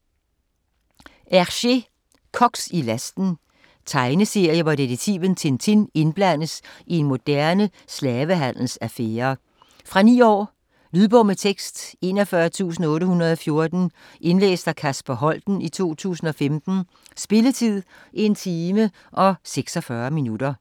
Hergé: Koks i lasten Tegneserie, hvor detektiven Tintin indblandes i en moderne slavehandelsaffære. Fra 9 år. Lydbog med tekst 41814 Indlæst af Kasper Holten, 2015. Spilletid: 1 time, 46 minutter.